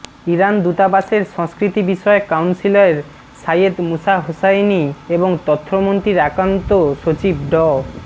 Iran দূতাবাসের সংস্কৃতিবিষয়ক counsellor Seyed Musa Hosseini এবং তথ্যমন্ত্রীর একান্ত সচিব ড